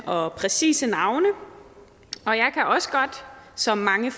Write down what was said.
og præcise navne og jeg kan også godt som mange